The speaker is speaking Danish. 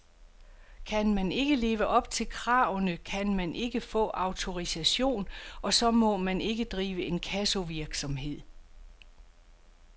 Kan man ikke leve op til kravene, kan man ikke få autorisation, og så må man ikke drive inkassovirksomhed.